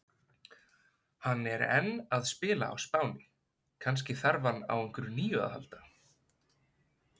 Hann er enn að spila á Spáni, kannski þarf hann á einhverju nýju að halda?